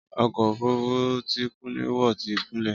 Ọkọ̀ òfurufú tí Kúnlé wọ̀ ti gúnlẹ̀.